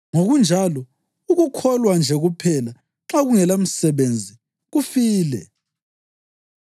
Ngokunjalo, ukukholwa nje kuphela, nxa kungelamisebenzi kufile.